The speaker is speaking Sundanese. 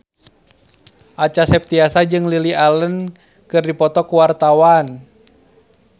Acha Septriasa jeung Lily Allen keur dipoto ku wartawan